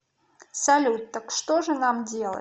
салют так что же нам делать